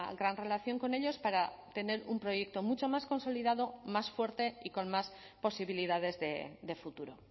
gran relación con ellos para tener un proyecto mucho más consolidado más fuerte y con más posibilidades de futuro